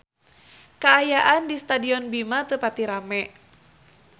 Kaayaan di Stadion Bima teu pati rame